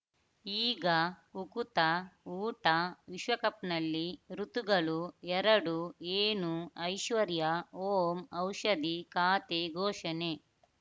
ಈಗ ಉಕುತ ಊಟ ವಿಶ್ವಕಪ್‌ನಲ್ಲಿ ಋತುಗಳು ಎರಡು ಏನು ಐಶ್ವರ್ಯಾ ಓಂ ಔಷಧಿ ಖಾತೆ ಘೋಷಣೆ